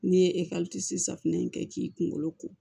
N'i ye safunɛ in kɛ k'i kunkolo ko